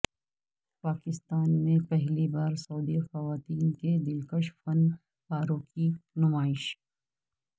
پاکستان میں پہلی بار سعودی خواتین کے دلکش فن پاروں کی نمائش